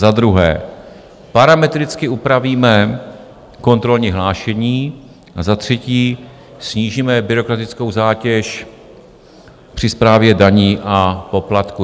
Za druhé parametricky upravíme kontrolní hlášení a za třetí snížíme byrokratickou zátěž při správě daní a poplatků."